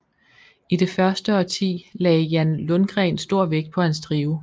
I det første årti lagde Jan Lundgren stor vægt på hans trio